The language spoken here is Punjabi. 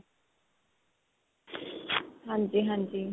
ਹਾਂਜੀ ਹਾਂਜੀ.